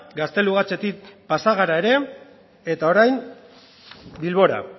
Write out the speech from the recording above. gaztelugatxetik pasa gara ere eta orain bilbora